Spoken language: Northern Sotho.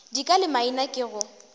dika le maina ke go